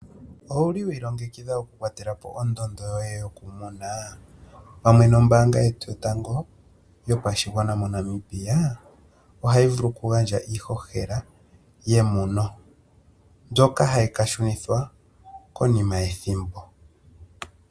Owuli wa ilongekidha oku kwatela po ondondo yoye yo kumuna, pamwe nombaanga yetu yotango yopashigwana moNamibia, ohayi vulu oku gandja iiihohela yemuno, mbyoka hayi ka shunithwa konima yethimbo.